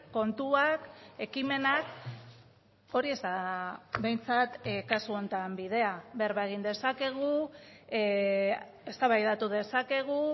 kontuak ekimenak hori ez da behintzat kasu honetan bidea berba egin dezakegu eztabaidatu dezakegu